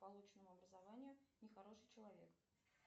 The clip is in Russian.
полученному образованию нехороший человек